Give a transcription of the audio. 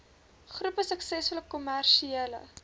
groepie suksesvolle kommersiële